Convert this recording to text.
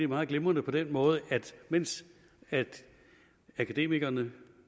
meget glimrende på den måde at mens akademikerne